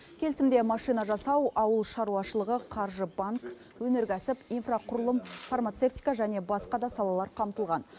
келісімде машина жасау ауыл шаруашылығы қаржы банк өнеркәсіп инфрақұрылым фармацевтика және басқа да салалар қамтылған